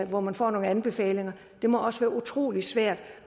hvor man får nogle anbefalinger det må også være utrolig svært